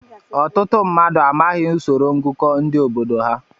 Ọtụtụ mmadụ amaghị usoro ngụkọ ndị obodo ha.